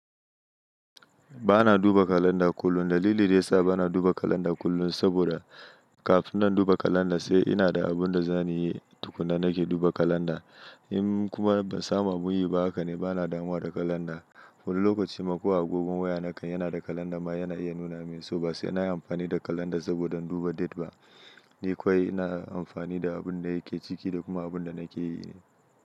Ba na duba kalanda kullum. Dalili da yasa ba na duba kalanda kullum saboda kafin na duba kalanda, sai ina da abin da zan yi tukuna nake duba kalanda. In kuma ban saban ban yi ba haka ne ba na damuwa da kalanda. Wani lokacin ma ko agogon waya na kan yana da kalanda ma yana iya nuna min, so ba sai na yi amfani da kalanda saboda in duba date ba. Ni kawai ina amfani da abin da yake ciki da kuma abin da nake yi ne.